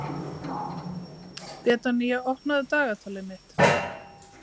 Betanía, opnaðu dagatalið mitt.